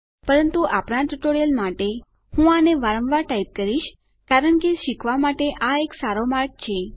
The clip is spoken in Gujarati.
પરંતુ આપણા ટ્યુટોરીયલ માટે હું આને વારંવાર ટાઈપ કરીશ કારણ કે શીખવા માટે આ એક સારો માર્ગ છે